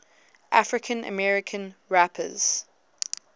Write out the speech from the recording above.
african american rappers